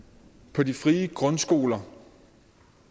på de frie grundskoler